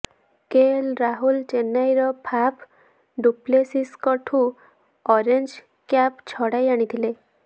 KL Rahul ଚେନ୍ନାଇର ଫାପ୍ ଡୁପ୍ଲେସିସଙ୍କଠୁ orange cap ଛଡାଇ ଆଣିଥିଲେ